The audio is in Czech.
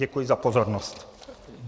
Děkuji za pozornost.